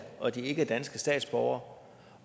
og ikke er danske statsborgere